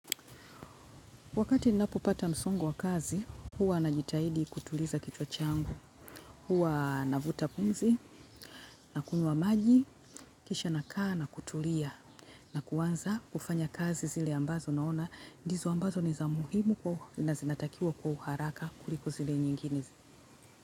Wakati ninapopata msongo wa kazi, huwa najitahidi kutuliza kichwa changu. Huwa navuta pumzi, nakunywa maji, kisha nakaa na kutulia. Na kuanza kufanya kazi zile ambazo naona. Ndizo ambazo ni za muhimu na zinatakiwa kwa uharaka kuliko zile nyingine.